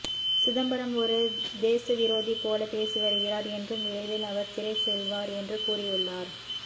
சிதம்பரம் ஒரு தேசவிரோதி போல பேசிவருகிறார் என்றும் விரைவில் அவர் சிறை செல்வார் என்று கூறியுள்ளார்